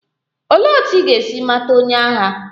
Olee otú ị ga-esi mata onye agha?